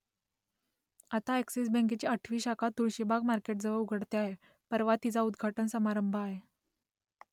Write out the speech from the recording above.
आता अ‍ॅक्सिस बँकेची आठवी शाखा तुळशीबाग मार्केटजवळ उघडते आहे परवा तिचा उद्घाटन समारंभ आहे